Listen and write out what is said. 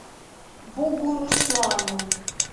бугуруслану